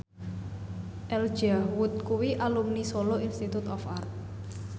Elijah Wood kuwi alumni Solo Institute of Art